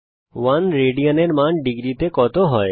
1 rad এর মান ডিগ্রীতে কত হয়